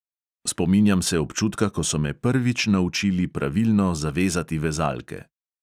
Spominjam se občutka, ko so me prvič naučili pravilno zavezati vezalke.